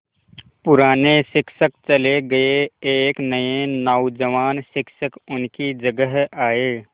पुराने शिक्षक चले गये एक नये नौजवान शिक्षक उनकी जगह आये